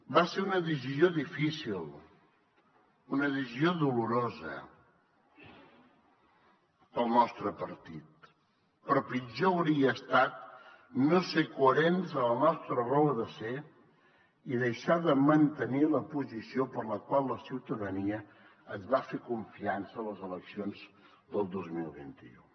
va ser una decisió difícil una decisió dolorosa per al nostre partit però pitjor hauria estat no ser coherents amb la nostra raó de ser i deixar de mantenir la posició per la qual la ciutadania ens va fer confiança a les eleccions del dos mil vint u